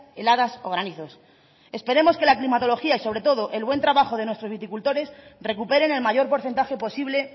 heladas o granizos esperemos que la climatología y sobre todo el buen trabajo de nuestros viticultores recuperen el mayor porcentaje posible